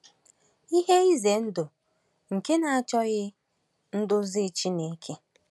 Ihe ize ndụ nke na-achọghị nduzi Chineke